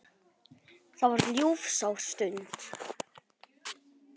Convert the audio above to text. Það var ljúfsár stund.